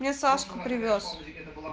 мне сашку привёз